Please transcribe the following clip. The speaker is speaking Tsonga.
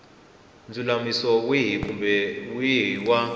ndzulamiso wihi kumbe wihi wa